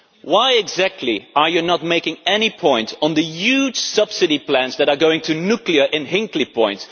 Why exactly are you not making any point on the huge subsidy plans that are going to nuclear in Hinkley Point?